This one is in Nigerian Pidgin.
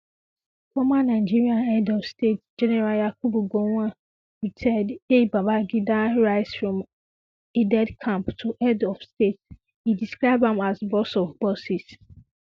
former nigerian head of state um gen yakubu gowon retd hail babangida rise from aidedecamp to head um of state e describe am as boss of bosses